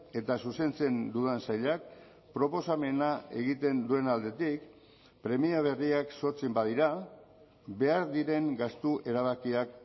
eta zuzentzen dudan sailak proposamena egiten duen aldetik premia berriak sortzen badira behar diren gastu erabakiak